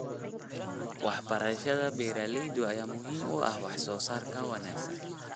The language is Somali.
Waxbarashada beeralayda ayaa muhiim u ah wax soo saarka wanaagsan.